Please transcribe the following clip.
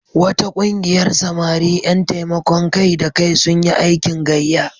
Wata ƙungiyar samari ƴan taimakon kai-da-kai sun yi aikin gayya.